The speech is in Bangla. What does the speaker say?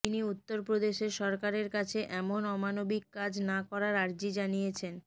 তিনি উত্তরপ্রদেশের সরকারের কাছে এমন অমানবিক কাজ না করার আর্জি জানিয়েছেন